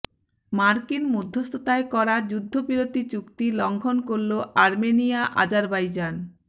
মার্কিন মধ্যস্থতায় করা যুদ্ধবিরতি চুক্তি লঙ্ঘন করল আর্মেনিয়া আজারবাইজান